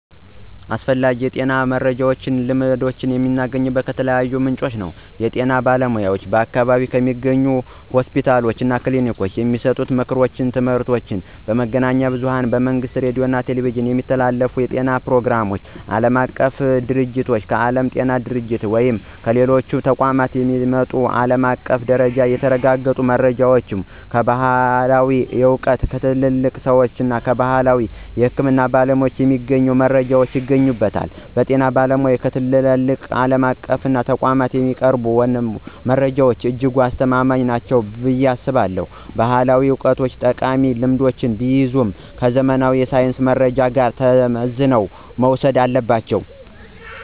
ስለ አስፈላጊ የጤና መረጃዎችና ልማዶች መረጃ የማገኘው ከተለያዩ ምንጮች ነው። ዋነኛዎቹ፦ የጤና ባለሙያዎች በአካባቢው ከሚገኙ ሆስፒታሎችና ክሊኒኮች የሚሰጡ ምክሮችና ትምህርቶች፣ መገናኛ ብዙኃን በመንግሥት ሬዲዮና ቴሌቪዥን የሚተላለፉ የጤና ፕሮግራሞች፣ ዓለም አቀፍ ድርጅቶች: ከዓለም ጤና ድርጅት ወይም ከሌሎች ተቋማት የሚመጡ በዓለም አቀፍ ደረጃ የተረጋገጡ መረጃዎች፣ ባሕላዊ ዕውቀት: ከትልልቅ ሰዎችና ከባሕላዊ የሕክምና ባለሙያዎች የሚገኙ መረጃዎች ይገኙበታል። በጤና ባለሙያዎችና በትላልቅ ዓለም አቀፍ ተቋማት የሚቀርቡ መረጃዎች እጅግ አስተማማኝ ናቸው ብዬ አስባለሁ። ባሕላዊ ዕውቀቶችም ጠቃሚ ልምዶችን ቢይዙም፣ ከዘመናዊ የሳይንስ መረጃ ጋር ተመዝነው መወሰድ አለባቸው።